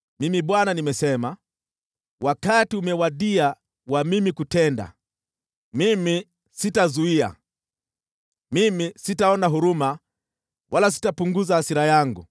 “ ‘Mimi Bwana nimesema, wakati umewadia wa mimi kutenda. Mimi sitazuia, mimi sitaona huruma wala sitapunguza hasira yangu,